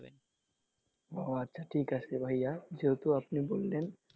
ও আচ্ছা ঠিক আছে ভাইয়া যেহেতু আপনি বললেন,